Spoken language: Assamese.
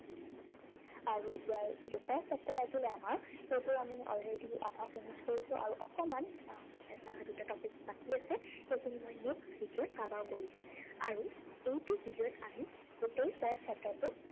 আৰু ইয়াৰ দুটা chapter আছিলে আমাৰ, সেইটোৰ আমি already আধা finish কৰিছো, আৰু অকনমান আহ এটা দুটা topic বাকী আছে, সেইখিনি মই next video ত cover কৰি দিম। আৰু এইটো video ত আমি গোটেই পদ chapter টো